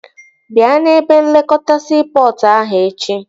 Bịa n'ebe nlekọta siipọtụ ahụ echi